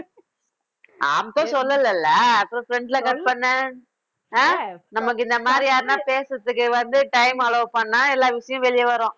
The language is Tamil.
அப்ப சொல்லலை இல்லை அப்ப front ல cut பண்ணு ஆஹ் நமக்கு இந்த மாதிரி யாருன்னா பேசுறதுக்கு வந்து, time allow பண்ணா எல்லா விஷயம் வெளிய வரும்